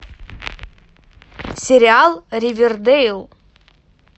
сериал ривердейл